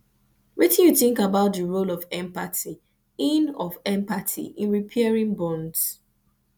wetin you think about di role of empathy in of empathy in repairing bonds